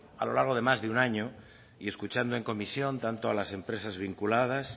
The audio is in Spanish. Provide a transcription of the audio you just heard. a lo largo de más de un año y escuchando en comisión tanto a las empresas vinculadas